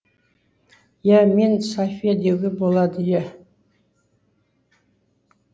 иә мен софия деуге болады ия